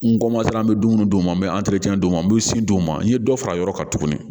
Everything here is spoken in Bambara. N komatan an be dumuni d'u ma n bɛ d'u ma n be sin d'u ma n ye dɔ fara a yɔrɔ kan tuguni